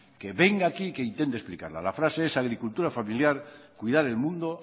que venga aquí y que intente explicarla la frase es agricultura familiar cuidar el mundo